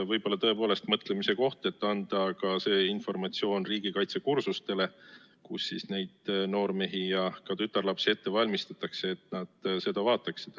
Võib-olla on see tõepoolest mõtlemise koht, et anda seda informatsiooni riigikaitsekursustel, kus neid noormehi ja ka tütarlapsi ette valmistatakse, et nad seda vaataksid.